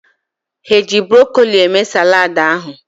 Ha eji brokoli mee saladị ahụ?